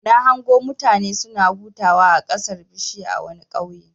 Na hango mutane suna hutawa a ƙasan bishiya a wani ƙauye.